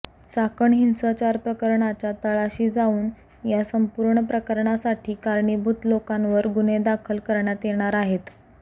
चाकण हिंसाचार प्रकरणाच्या तळाशी जाऊन या संपूर्ण प्रकरणासाठी कारणीभूत लोकांवर गुन्हे दाखल करण्यात येणार आहेत